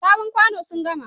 Sabon kwano sun gama.